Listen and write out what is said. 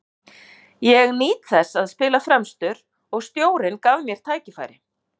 Ég nýt þess að spila fremstur og stjórinn gaf mér tækifæri.